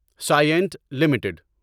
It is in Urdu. Cyient limited